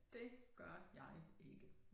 Det gør jeg ikke